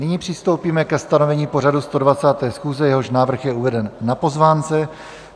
Nyní přistoupíme ke stanovení pořadu 120. schůze, jehož návrh je uveden na pozvánce.